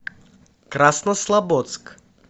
краснослободск